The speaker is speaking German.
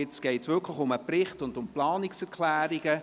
Jetzt geht es wirklich um den Bericht und um die Planungserklärungen.